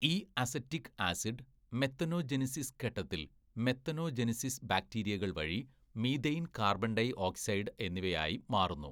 "ഈ acetic acid methanogenesis ഘട്ടത്തില്‍ methanogenesis ബാക്ടീരിയകള്‍ വഴി മീഥെയ്ന്‍ കാര്‍ബണ്‍ ഡൈ ഓക്‌സൈഡ് എന്നിവയായി മാറുന്നു. "